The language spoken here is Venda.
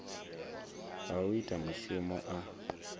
ha u ita mushumo a